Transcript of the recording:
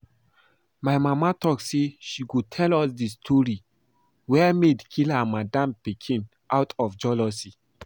My mama talk say she go tell us the story where maid kill her madam pikin out of jealousy